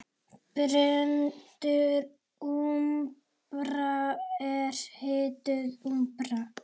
Brennd úmbra er hituð úmbra.